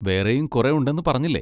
വേറെയും കുറെ ഉണ്ടെന്ന് പറഞ്ഞില്ലേ?